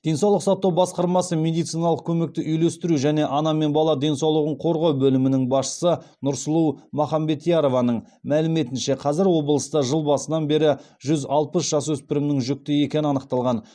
денсаулық сақтау басқармасы медициналық көмекті үйлестіру және ана мен бала денсаулығын қорғау бөлімінің басшысы нұрсұлу махамбетярованың мәліметінше қазір облыста жыл басынан бері жүз алпыс жасөспірімнің жүкті екені анықталған